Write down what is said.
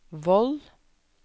Voll